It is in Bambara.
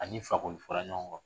A ni Fakoli fɔra ɲɔgɔn kɔ